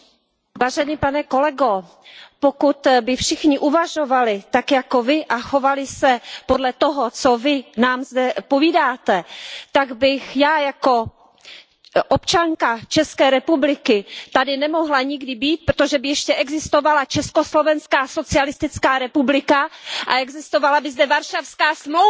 Vážený pane kolego, pokud by všichni uvažovali tak jako Vy a chovali se podle toho, co Vy nám zde povídáte, tak bych já jako občanka České republiky tady nemohla nikdy být, protože by ještě existovala Československá socialistická republika a existovala by zde Varšavská smlouva.